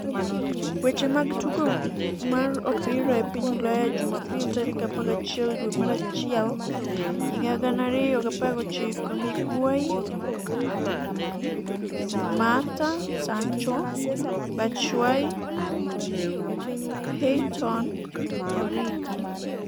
weche mag tugo mar opira e piny Ulaya Jumapil 11.01.2019: Higuain, Mata, Sancho, Batshuayi, Heaton, Origi